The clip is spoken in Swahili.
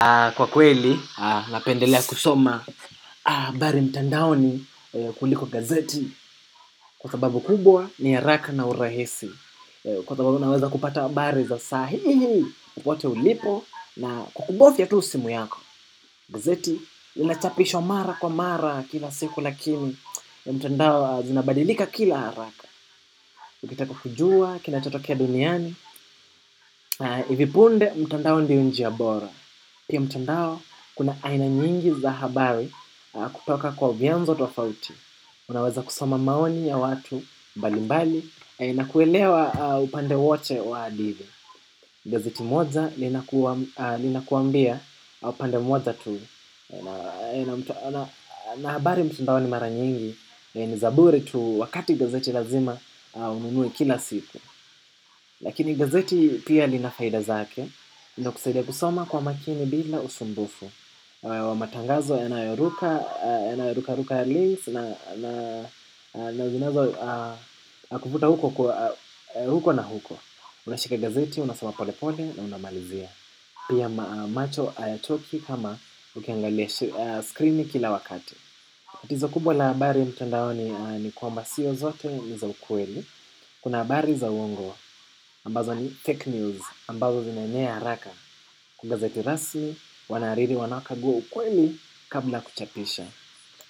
Kwa kweli, napendelea kusoma habari mtandaoni kuliko gazeti. Kwa sababu kubwa ni haraka na urahisi. Kwa sababu naweza kupata habari za saa hii hii kokote ulipo na kwa kubovya tu simu yako. Gazeti linachapishwa mara kwa mara kila siku lakini ya mtandao zinabadilika kila haraka. Ukitaka kujua, kinachotokea duniani. Ivi punde, mtandao ndio njia bora. Pia mtandao kuna aina nyingi za habari kutoka kwa vianzo tofauti. Unaweza kusoma maoni ya watu mbalimbali na kuelewa upande wote wa hadithi. Gazeti moja linakuambia upande moja tuu. Na habari mtandaoni mara nyingi ni za bure tu wakati gazeti lazima ununue kila siku. Lakini gazeti pia lina faida zake, linakusaidia kusoma kwa umakini bila usumbufu. Kwa matangazo yanayoruka, yanayoruka na zinazokuvutahuko na huko. Unashika gazeti, unasoma pole pole na unamalizia. Pia macho hayatoki kama ukiangalia screen kila wakati. Tatizo kubwa la habari mtandaoni ni kwamba sio zote ni za ukweli. Kuna habari za uongo ambazo ni fake news ambazo zinaenea haraka. Kwa gazeti rasmi, wahariri wanaukagua ukweli kabla ya kuchapisha.